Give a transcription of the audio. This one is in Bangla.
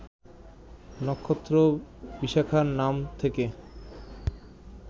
নক্ষত্র বিশাখার নাম থেকে